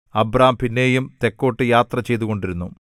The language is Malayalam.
അബ്രാം പിന്നെയും തെക്കോട്ടു യാത്രചെയ്തുകൊണ്ടിരുന്നു